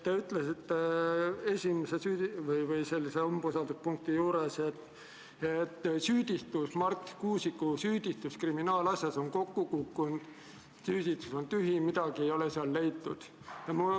Te ütlesite umbusaldusavalduse esimese punkti kohta, et süüdistus Marti Kuusiku kriminaalasjas on kokku kukkunud, süüdistus on tühi, midagi ei ole leitud.